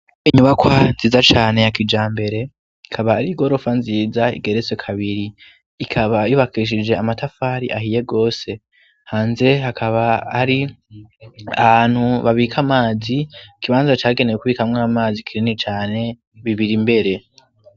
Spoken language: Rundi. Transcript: Inyubakwa nziza cane ya kijambere, ikaba ari igorofa nziza igeretse kabiri, ikaba yubakishije amatafari ahiye gose. Hanze hakaba hari ahantu babika amazi, ikibanza cagenewe kubikamwo amazi kinini cane , bibiri mbere.